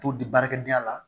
To di baarakɛ la